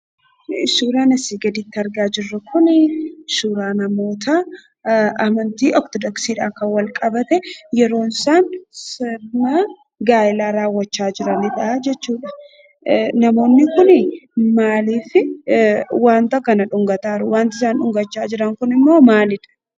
Suuraan asii gaditti argaa jirru kun suuraa namootaa amantii ortodoksiidhaan walqabate yeroo isaan sirna gaayelaa raawwachaa jiranidha jechuudha. Namoonni kun maaliif wanta kana dhungataa jiru? Wanti isaan dhungataa jiran immoo maalidhaa?